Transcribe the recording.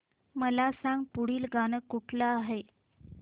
मला सांग पुढील गाणं कुठलं आहे